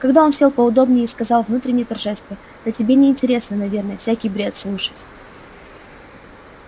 тогда он сел поудобнее и сказал внутренне торжествуя да тебе не интересно наверное всякий бред слушать